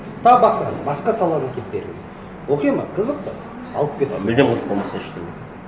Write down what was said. тағы басқаны басқа саланы әкеліп беріңіз оқиды ма қызық па алып кетіңіз а мүлдем қызық болмаса ештеңе